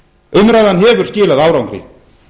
umræðan hefur skilað árangri